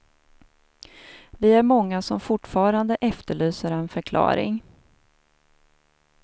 Vi är många som fortfarande efterlyser en förklaring.